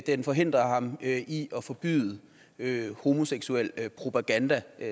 den forhindrer ham i at forbyde homoseksuel propaganda